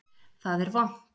Það er vont